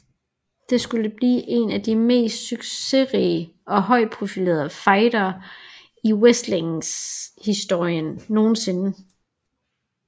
Det skulle blive en af de mest succesrige og højtprofilerede fejder i wrestlinghistorien nogensinde